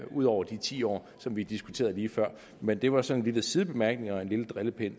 ud over de ti år som vi diskuterede lige før men det var sådan en lille sidebemærkning og lidt drilleri